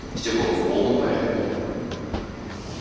всё было в полном порядке